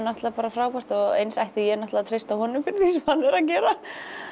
náttúrulega bara frábært og eins ætti ég náttúrulega að treysta honum fyrir því sem hann er að gera